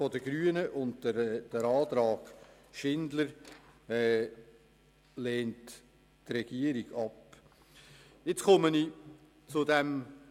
Die Regierung lehnt den Antrag der Grünen und den Antrag Schindler ab.